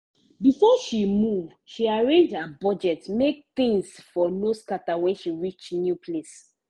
before she move she arrange her budget make things for no scatter when she reach new place